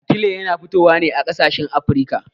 Atile yana fitowa ne a ƙasashen Afirka.